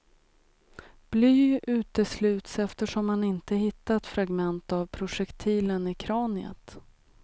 Bly utesluts eftersom man inte hittat fragment av projektilen i kraniet.